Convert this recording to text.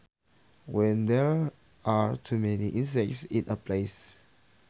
When there are to many insects in a place